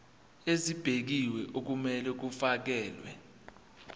ezibekiwe okumele kufakelwe